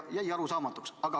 Jäi arusaamatuks.